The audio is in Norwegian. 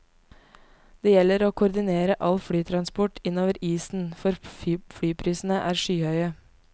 Det gjelder å koordinere all flytransport innover isen, for flyprisene er skyhøye.